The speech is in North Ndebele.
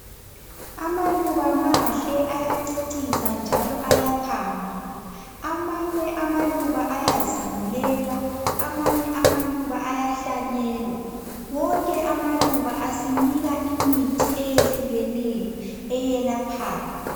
Amaluba mahle ayacecisa njalo ayakhanya amanye amaluba ayazimilela amanye ayahlanyelwa wonke amaluba asinika imithi eyehlukeneyo eyelaphayo.